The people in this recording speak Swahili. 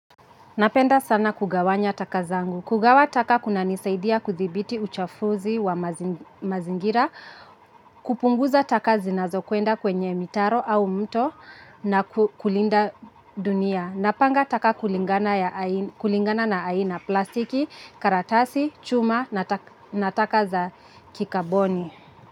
Napenda sana kugawanya taka zangu. Kugawa taka kunanisaidia kudhibiti uchafuzi wa mazingira, kupunguza taka zinazokwenda kwenye mitaro au mto na kulinda dunia. Napanga taka kulingana na aina, plastiki, karatasi, chuma na taka za kikaboni.